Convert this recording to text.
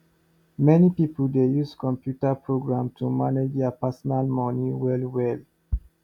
many pipo dey use computer program to manage deir personal moni well well